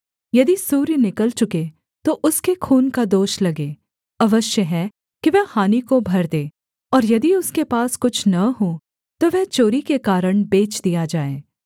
यदि सूर्य निकल चुके तो उसके खून का दोष लगे अवश्य है कि वह हानि को भर दे और यदि उसके पास कुछ न हो तो वह चोरी के कारण बेच दिया जाए